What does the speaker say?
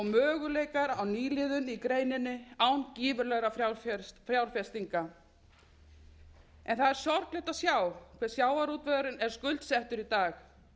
möguleikar á nýliðun í greininni án gífurlegra fjárfestinga það er sorglegt að sjá hve sjávarútvegurinn er skuldsettur í dag